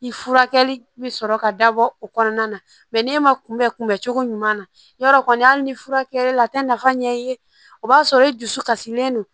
I furakɛli bɛ sɔrɔ ka dabɔ o kɔnɔna na mɛ n'e ma kunbɛ kunbɛncogo ɲuman na yarɔ kɔni hali ni furakɛli la a tɛ nafa ɲɛ i ye o b'a sɔrɔ i dusu kasilen don